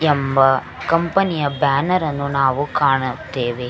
ಎಂಬ ಕಂಪೆನಿಯ ಬ್ಯಾನೆರ್ ಅನ್ನು ನಾವು ಕಾಣುತ್ತೇವೆ.